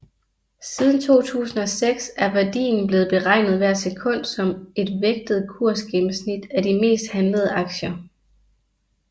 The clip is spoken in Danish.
Siden 2006 er værdien blevet beregnet hvert sekund som et vægtet kursgennemsnit af de mest handlede aktier